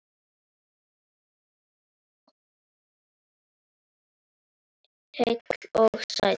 Heill og sæll!